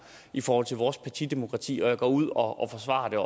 i forhold til vores partidemokrati og jeg går ud og forsvarer